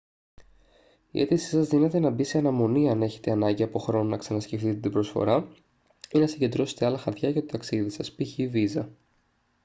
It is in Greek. η αίτησή σας δύναται να μπει σε αναμονή άν έχετε ανάγκη από χρόνο να ξανασκεφτείτε την προσφορά ή να συγκεντρώσετε άλλα χαρτιά για το ταξίδι σας π.χ. βίζα